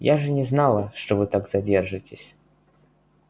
я же не знала что вы так задержитесь